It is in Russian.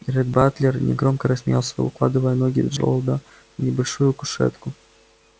ретт батлер негромко рассмеялся укладывая ноги джералда на небольшую кушетку